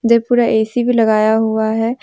एक पूरा ए_सी भी लगाया हुआ है।